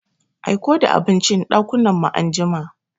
Aiko the abincin ɗakunan mu anjima.